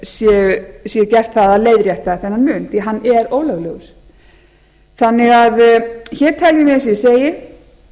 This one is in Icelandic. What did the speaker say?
sé gert að leiðrétta þennan mun því að hann er ólöglegur hér teljum við eins og ég segi